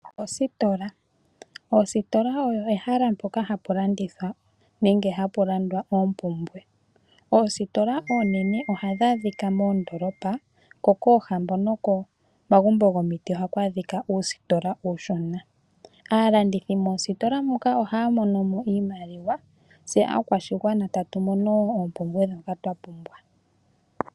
Oositola, oositola oyo ehala mpoka hapu landithwa nenge hapu landwa oompumbwe . Oositola oonene ohadhi adhika moondolopa ko koohambo noko magumbo gokomiti ohaku adhika oositola oonshona. Aalandithi moositola moka ohaya mono iimaliwa tse aakwashigwana tatu mono wo oompumbwe ndhoka twa pumbwa.